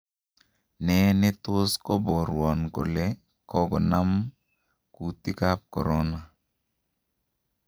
Nee netos koborwon kole kogonaam kuutik ab Corona.